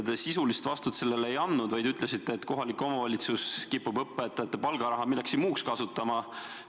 Te sisulist vastust sellele ei andnud, vaid ütlesite, et kohalik omavalitsus kipub õpetajate palgaraha millekski muuks kasutama.